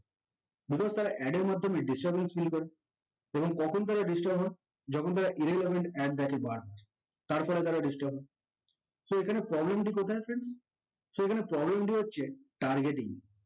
because তারা ad এর মাধ্যমে disturbance feel করে এবং কখন তারা disturb হয় যখন তারা irrelevant ad দেখে তারপরে তারা disturb হয় so এখানে problem তা কোথায় হচ্ছে এখানে problem টি হচ্ছে targeting